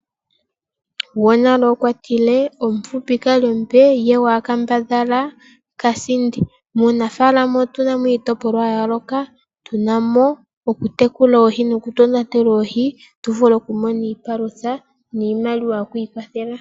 Gowanale okwatile omufupi kalya ombe ye kaambadha kasindi, muunafaalama otunamo iitopolwa yayooloka tunamo okutekula oohi noku tonatela oohi tuvule okumona iipalutha niimaliwa yokwiikwathela.